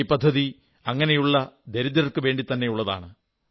ഈ പദ്ധതി അങ്ങനെയുള്ള ദരിദ്രർക്കു വേണ്ടിത്തന്നെയുള്ളതാണ്